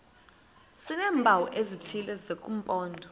sineempawu ezithile zesimpondo